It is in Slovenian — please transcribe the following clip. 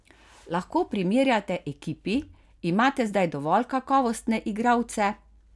Lahko primerjate ekipi, imate zdaj dovolj kakovostne igralce?